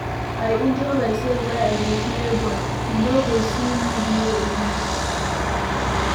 I injure myself where I dey play ball. You no go see me there again.